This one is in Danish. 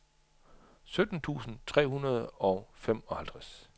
sytten tusind tre hundrede og femoghalvtreds